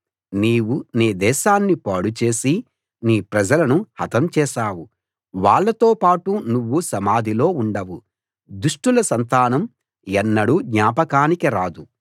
నీవు నీ దేశాన్ని పాడుచేసి నీ ప్రజలను హతం చేశావు వాళ్ళతో పాటు నువ్వు సమాధిలో ఉండవు దుష్టుల సంతానం ఎన్నడూ జ్ఞాపకానికి రాదు